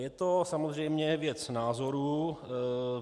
Je to samozřejmě věc názoru.